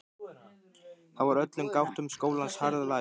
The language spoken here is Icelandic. Þá var öllum gáttum skólans harðlæst.